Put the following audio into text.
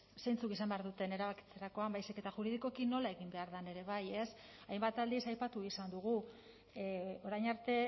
zeintzuk izan behar duten erabakitzerakoan baizik eta juridikoki nola egin behar den ere bai ez hainbat aldiz aipatu izan dugu orain arte